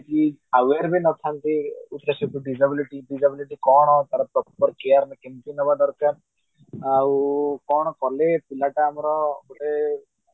aware ବି ନଥାନ୍ତି disability disability କଣ ତାର proper care କେମିତି ନବା କଥା ଆଉ କଣ କାଲେ ପିଲା ଟା ଆମର ମାନେ